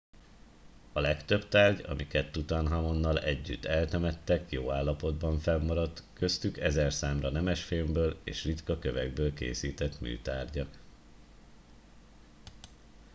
a legtöbb tárgy amiket tutanhamonnal együtt eltemettek jó állapotban fennmaradt köztük ezerszámra nemesfémből és ritka kövekből készített műtárgyak